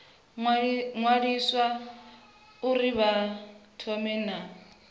ṅwaliswa uri vha thome na